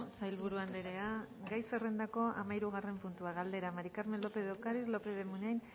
sailburu andrea gai zerrendako hamahirugarren puntua galdera maría del carmen lópez de ocariz lópez de munain